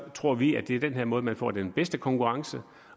tror vi at det er den her måde man får den bedste konkurrence